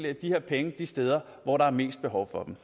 af de her penge de steder hvor der er mest behov for dem